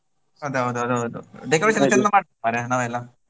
ಅದು ಹೌದು ಅದು ಹೌದು decoration ಮಾಡ್ವಾ ನಾವೆಲ್ಲ.